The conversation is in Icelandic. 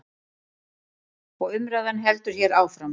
Og umræðan heldur hér áfram.